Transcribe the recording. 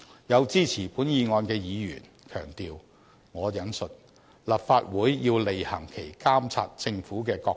有支持本議案的議員強調，"立法會要履行其監察政府的角色"。